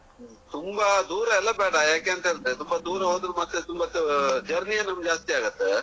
ತುಂಬಾ ದೂರಾ ಎಲ್ಲಾ ಬೇಡ ಯಾಕೆಂತಂದ್ರೆ ತುಂಬಾ ದೂರ ಹೋದ್ರು ಮತ್ತೆ ತುಂಬಾ journey ನಮ್ಗೆ ಜಾಸ್ತಿಯಾಗ್ತದೆ